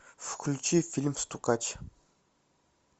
включи фильм стукач